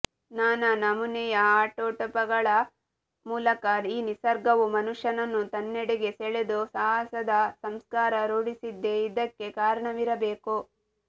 ನಾನಾ ನಮೂನೆಯ ಅಟಾಟೋಪಗಳ ಮೂಲಕ ಈ ನಿಸರ್ಗವು ಮನುಷ್ಯನನ್ನು ತನ್ನೆಡೆಗೆ ಸೆಳೆದು ಸಾಹಸದ ಸಂಸ್ಕಾರ ರೂಢಿಸಿದ್ದೇ ಇದಕ್ಕೆ ಕಾರಣವಿರಬೇಕು